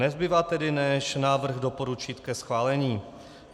Nezbývá tedy než návrh doporučit ke schválení.